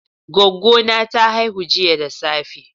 Goggo na ta haihu jiya da safe.